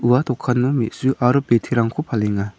ua dokkano me·su aro biterangko palenga.